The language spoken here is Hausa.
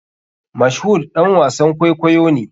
Mashood ɗan wasan kwaikwayo ne.